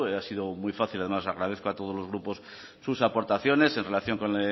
ha sido muy fácil agradezco a todos los grupos sus aportaciones en relación con